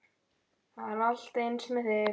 Það er alltaf eins með þig!